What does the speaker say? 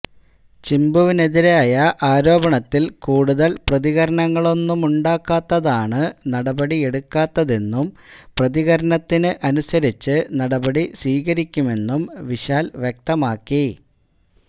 ചിമ്പുവിനെതിരായ ആരോപണത്തില് കൂടുതല് പ്രതികരണങ്ങളൊന്നുമുണ്ടാക്കാത്തതാണ് നടപടിയെടുക്കാത്തതെന്നും പ്രതികരണത്തിന് അനുസരിച്ച് നടപടി സ്വീകരിക്കുമെന്നും വിശാല് വ്യക്തമാക്കി